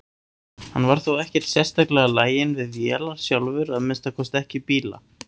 Hann var þó ekkert sérstaklega laginn við vélar sjálfur, að minnsta kosti ekki bíla.